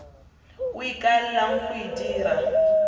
o ikaelelang go e dira